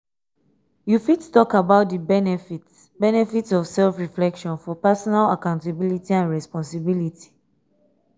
you fit talk about di benefits benefits of self-reflection for personal accountability and responsibility?